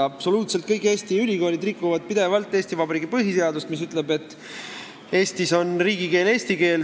Absoluutselt kõik Eesti ülikoolid rikuvad pidevalt Eesti Vabariigi põhiseadust, mis ütleb, et Eestis on riigikeel eesti keel.